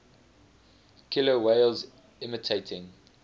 killer whales imitating